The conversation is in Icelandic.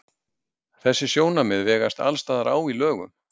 Þessi sjónarmið vegast alls staðar á í lögum.